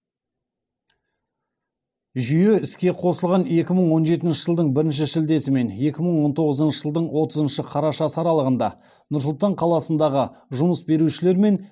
жүйе іске қосылған екі мың он жетінші жылдың бірінші шілдесі мен екі мың он тоғызыншы жылдың отызыншы қарашасы аралығында нұр сұлтан қаласындағы жұмыс берушілер мен